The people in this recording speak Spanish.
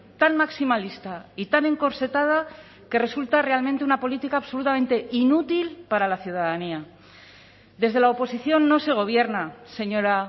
tan maximalista y tan encorsetada que resulta realmente una política absolutamente inútil para la ciudadanía desde la oposición no se gobierna señora